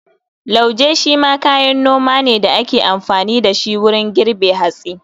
Lauje shi ma kayan noma ne da ake amfani da shi wurin girbe hatsi.